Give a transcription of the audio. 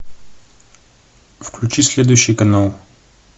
включи следующий канал